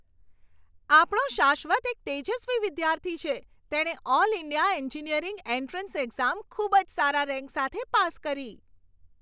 આપણો શાશ્વત એક તેજસ્વી વિદ્યાર્થી છે! તેણે all India engineering entrance exam ખૂબ જ સારા રેન્ક સાથે પાસ કરી.